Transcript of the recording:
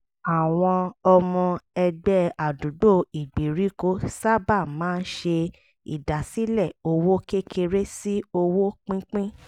àwọn ọmọ ẹgbẹ́ àdúgbò ìgbèèríkò sábà máa ń ṣe ìdásílẹ̀ owó kékeré sí owó pínpín